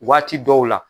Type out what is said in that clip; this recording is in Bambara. Waati dɔw la